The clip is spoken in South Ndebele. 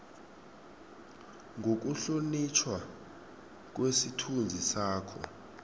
nokuhlonitjhwa kwesithunzi sakho